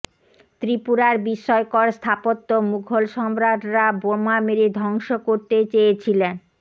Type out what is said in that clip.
ত্রিপুরার বিস্ময়কর স্থাপত্য মুঘল সম্রাটরা বোমা মেরে ধ্বংস করতে চেয়েছিলেন